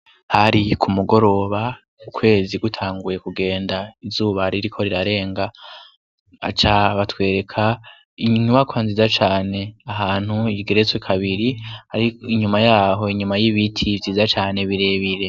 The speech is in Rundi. Hari ku mugoroba ukwezi gutanguye kugenda izuba ririko rirarenga aca batwereka inyubako nziza cane ahantu ikigeretswe kabiri, ariko inyuma yaho inyuma y'ibiti vyiza cane birebire.